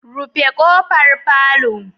Rufe kofar palour